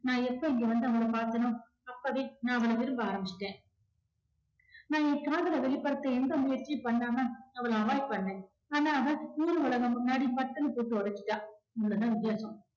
நான் எப்ப இங்க வந்து அவள பார்த்தேனோ அப்பவே நான் அவள விரும்ப ஆரம்பிச்சுட்டேன். நான் ஏன் காதலை வெளிப்படுத்த எந்த முயற்சியும் பண்ணாம அவள avoid பண்ண. ஆனா அவ ஊரு உலகம் முன்னாடி பட்டுன்னு போட்டு ஒடச்சுட்டா. அவ்ளோதான் வித்தியாசம்